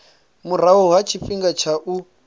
murahu ha tshifhinga tsha u